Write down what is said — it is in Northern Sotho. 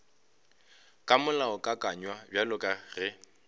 ka molaokakanywa bjalo ka ge